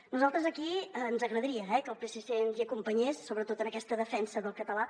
a nosaltres aquí ens agradaria eh que el psc ens hi acompanyés sobretot en aquesta defensa del català